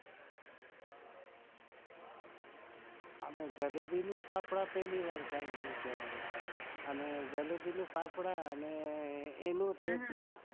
અમે જલેબી ને ફાફડા પેહલી વાર સાંભળ્યું છે. અને જલેબી નું ફાફડા ને એનું